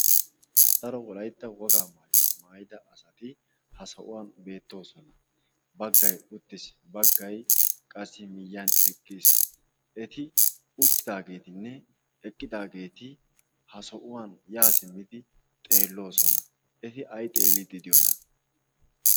daro wolaytta wogaa maayida asati ha sohuwan beetoosona. baggay uttis, qassi bagay eqqis. eti uttidageetinne eqqidaageeti ay xeeliidi de'iyoonaa?